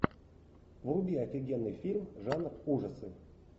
вруби офигенный фильм жанр ужасы